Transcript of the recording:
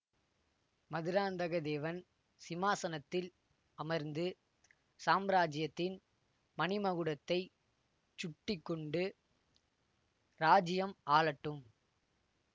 மதுராந்தகத்தேவன் சிம்மாசனத்தில் அமர்ந்து சாம்ராஜ்யத்தின் மணிமகுடத்தைச் சுட்டி கொண்டு இராஜ்யம் ஆளட்டும்